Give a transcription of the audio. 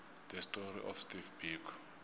the story of steve biko